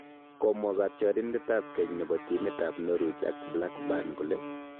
Komwa katyarindet ab keny nebo timit ab norwich ak blackburn kole